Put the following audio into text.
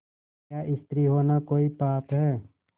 क्या स्त्री होना कोई पाप है